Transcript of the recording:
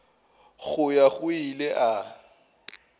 go ya go ile a